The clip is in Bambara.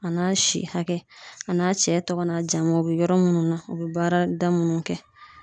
A n'a si hakɛ a n'a cɛ tɔgɔ n'a jamu o be yɔrɔ munnu na u be baarada munnu kɛ